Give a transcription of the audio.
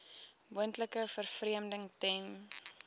moontlike vervreemding ten